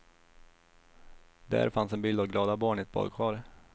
Där fanns en bild av glada barn i ett badkar.